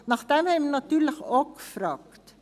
Danach haben wir natürlich auch gefragt.